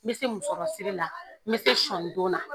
N bɛ se musɔ siri la, n bɛ se sɔni don na.